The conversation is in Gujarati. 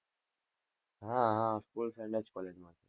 હા હા school friend જ collage માં છે.